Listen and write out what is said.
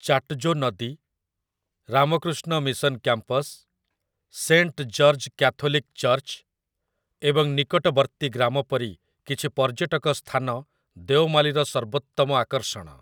ଚାଟଜୋ ନଦୀ, Ramakrishna Mission campus, Saint George Catholic church ଏବଂ ନିକଟବର୍ତ୍ତୀ ଗ୍ରାମ ପରି କିଛି ପର୍ଯ୍ୟଟକ ସ୍ଥାନ ଦେଓମାଲିର ସର୍ବୋତ୍ତମ ଆକର୍ଷଣ ।